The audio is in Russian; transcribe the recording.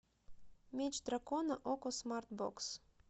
меч дракона окко смарт бокс